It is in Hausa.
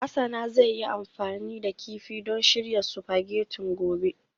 Hasana zai yi amfani da kifi don shirya spaghetti gobe